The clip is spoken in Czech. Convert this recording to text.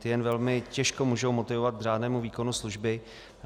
Ty jen velmi těžko můžou motivovat k řádnému výkonu služby.